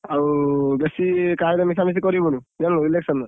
ଆଉ ବେଶୀ କାହା ସହିତ ମିଶାମିଶି କରିବୁନି। ଜାଣିଲୁ election